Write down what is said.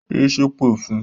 Yé ṣépè fun!